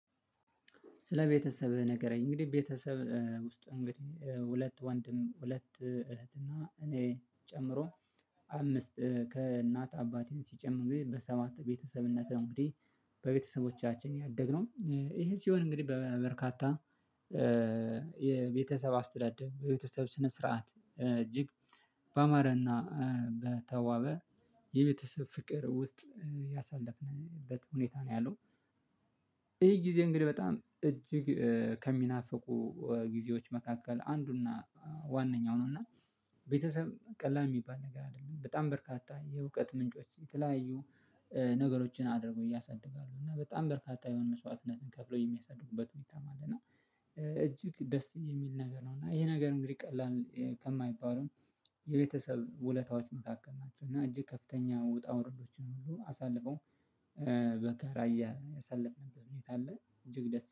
ስለ ቤተሰብህ ንገረኝ እንግዲህ ቤተሰብ ውስጥ እንግዲህ ሁለት ወንድም ሁለት እህት እና እኔን ጨምሮ አምስት ከእናት አባቴን ሲጨምር ግን በሰማት ቤተሰብነት ነው እንግዲህ። በቤተሰቦቻችን ያደግነው ይሄ ሲሆን እንግዲህ በበርካታ የቤተሰብ አስተዳደር በቤተሰብ ስነ ስርዓት እጅግ በአማረና በተዋበ የቤተሰብ ፍቅር ውስጥ ያሳለፍንበት ሁኔታ ነው ያለው። ይሄ ጊዜ እንግዲህ በጣም እጅግ ከሚናፍቁ ጊዜዎች መካከል አንዱና ዋነኛው ነው። እና ቤተሰብ ቀላል እሚባል ነገር አይደለም በጣም በርካታ የእውቀት ምንጮች የተለያዩ ነገሮችን አድርጎ እያሳደጋሉ እና በጣም በርካታ የሆነ መስዋዕትነትን ከፍሎ የሚያሳድጉበት ሁይታም አለ። እና እጅግ ደስ የሚል ነገር ነው። እና ይሄ ነገር እንግዲህ ቀላል ከማይባለው የቤተሰብ ውለታዎች መካከል ናቸው። እና እጅግ ከፍተኛ ውጣ ወረዶችን ሁሉ አሳልፈው በጋራ እያሳለፍንበት ሁኔታ አለ። እጅግ ደስ